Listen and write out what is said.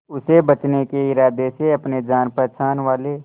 उसे बचने के इरादे से अपने जान पहचान वाले